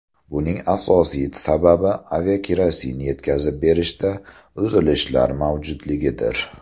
Buning asosiy sababi aviakerosin yetkazib berishda uzilishlar mavjudligidir.